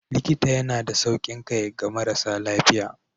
Likita yana da saukin kai ga marasa lafiya.